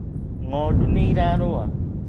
Ng'ondu nĩirarũa